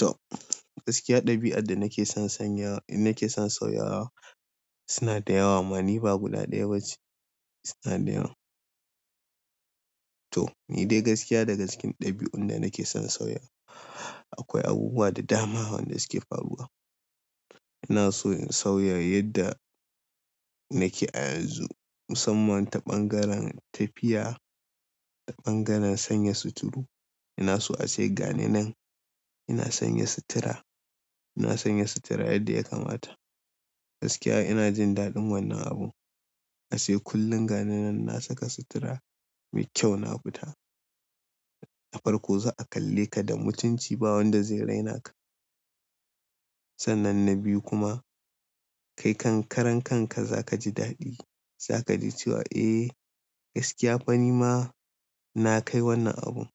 To, gaskiya ɗabi'a da nake son sauyawa suna da yawa. Amma ni ba guda ɗaya ba ce. Suna da yawa. To, ni dai gaskiya daga cikin ɗabi'un da nake son sauya, akwai abubuwa da dama wanda suke faruwa. Ina so in sauya yadda nake a yanzu. Musamman ta ɓangaren tafiya, ta ɓangaren sanya suturu. Ina so a ce gani nan, ina sanya sutura, ina sanya sutura yadda ya kamata. Gaskiya ina jin daɗin wannan abun. A ce kullum gane nan na saka sutura mai kyau na fita. Ta farko za'a kalle ka da mutunci. Ba wanda zai raina ka. Sannan na biyu kuma kai kankaren kanka za ka ji daɗi. Za ka ji cewa eh gaskiya fa ni ma na kai wannan abun.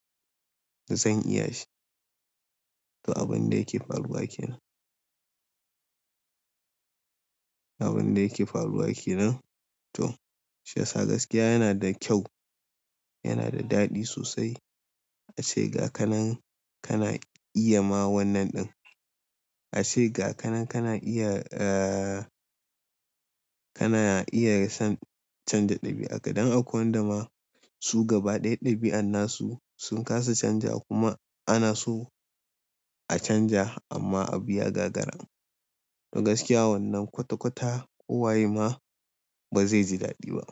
Zan iya shi. To, abun da yake faruwa kenan. Abun da yake faruwa kenan. Toh, shiyasa gaskiya yana da kyau. Yana da daɗi sosai. A ce ga ka nan kana iya ma wannan ɗin. A ce ga ka nan kana iya, eh kana iya son canja ɗabi'ar ka. Dan akwai wanda ma, su gaba ɗaya ɗabi'an na su, sun kasa canjawa kuma ana so a canja amma abu ya gagara. To gaskiya wannan kwata-kwata kowaye ma ba zai ji daɗi ba.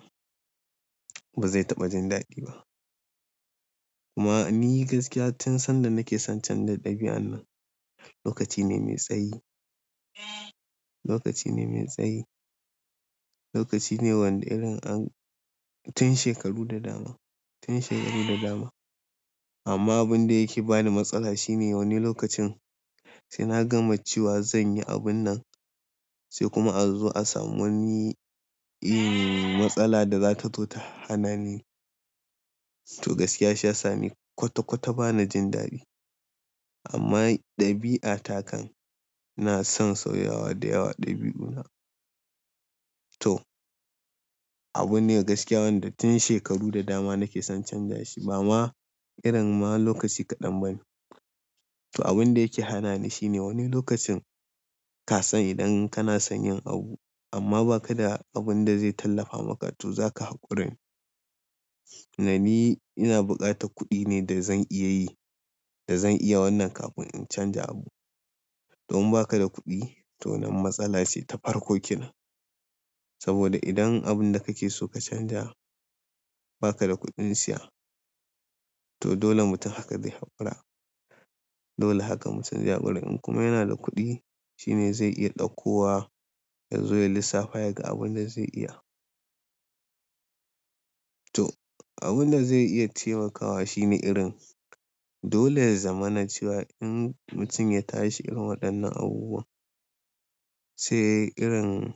Ba zai taɓa jin daɗi ba. Kuma ni gaskiya tun sanda nake son canja ɗabi'an nan lokaci ne mai tsayi. Lokaci ne mai tsayi. Lokaci ne wanda irin an tun shekaru da dama, tun shekaru da dama. Amma abun da yake bani matsala shine wani lokacin, sai na gama cewa zan yi abun nan sai kuma a zo a sami wani matsala da za ta zo ta hana ni. To gaskiya shiyasa ni kwata-kwata ba na jin daɗi. Amma ɗabi'a ta kan, ina son sauyawa da yawa ɗabi'una. To, abune gaskiya wanda tun shekaru da dama nake son canja shi. Bama irin ma lokaci kaɗan bane. To, abun da yake hana ni shine wani lokacin, ka san idan kana son yin abu amma ba ka da abun da zai tallafa, maka to za ka haƙuri. Tunda ni, ina buƙatar kuɗi ne da zan iya yi, da zan iya wannan kafin in canja abu. To in ba ka da kuɗi to nan matsala ce ta farko kenan. Saboda idan abun da kake so ka canja ba ka da kuɗin siya to dole mutum haka zai haƙura. Dole haka mutum zai haƙura. In kuma yana da kuɗi shine zai iya ɗauko wa ya zo ya lissafa ya ga abin da zai iya. To, abun da zai iya taimakawa shine irin dole ya zama na cewa, in mutum ya tashi irin waɗannan abubuwa sai irin,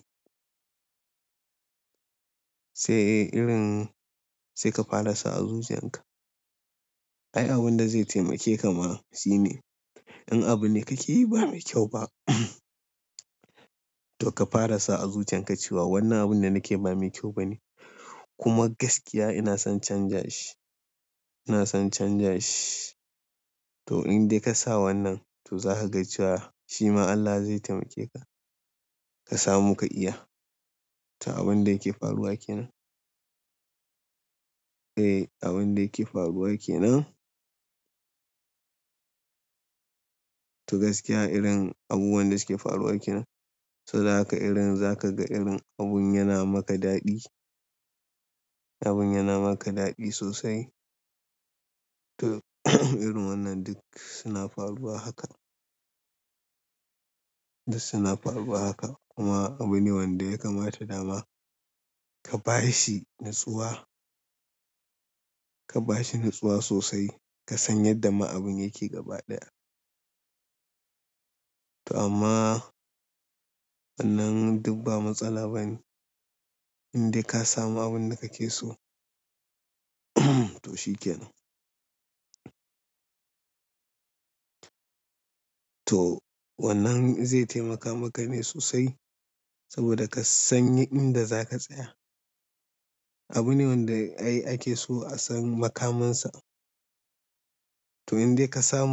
sai irin sai ka fara sa azuzuwan ka. Ai abunda zai taimake ma, shine, in abunda kake yi ba mai kyau ba, to ka fara sa a zuciyanka cewa wannan abun da nakeyi ba mai kyau bane. Kuma gaskiya ina son canja shi. Ina son canja shi. To in dai ka sa wannan, to za ka ga cewa shima Allah zai taimake ka. Ka samu ka iya. To abun da yake faruwa kenan. Eh abun da yake faruwa kenan. To gaskiya irin abubuwan da suke faruwa kenan. Saboda haka irin za ka ga irin abun yana maka daɗi. Abun yana maka daɗi sosai. To irin wannan duk suna faruwa haka. Duk suna faruwa haka kuma abu ne wanda ya kamata dama ka ba shi natsuwa. Ka ba shi natsuwa sosai. Ka san yadda ma abun yake gaba ɗaya. To amma wannan duk ba matsala ba ne. In dai ka samu abun da kake so to shi kenan. To wannan zai taimaka maka ne sosai saboda ka sani inda za ka tsaya. Abu ne wanda ai ake so a san makaminsa. To in dai ka samu.